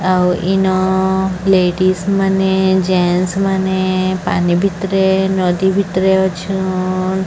ଆଉ ଇନ ଲେଡିସ ମାନେ ଜେନସ୍ ମାନେ ପାନି ଭିତରେ ନଦୀ ଭିତରେ ଅଛନ୍।